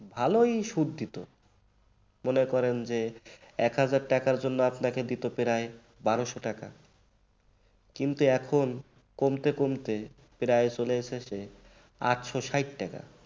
ভালই সুদ দিত মনে করেন যে এক হাজার টাকার জন্য আপনাকে দিত প্রায় বারোশো টাকা কিন্তু এখন কমতে কমতে প্রায় চলে এসেছে আটশষাট টাকা